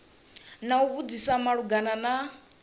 na u vhudzisa malugana na